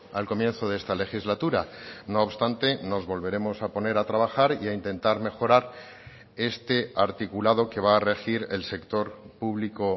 al comienzo de esta legislatura no obstante nos volveremos a poner a trabajar y a intentar mejorar este articulado que va a regir el sector público